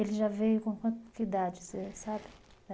Ele já veio com quanta idade, você sabe?